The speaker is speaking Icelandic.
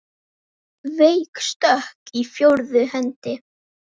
Veik stökk í fjórðu hendi!